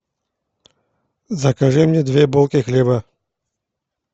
закажи мне две булки хлеба